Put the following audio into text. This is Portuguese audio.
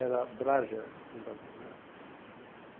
Era Drager, do Brasil, né?